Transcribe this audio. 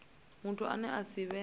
muthu ane a si vhe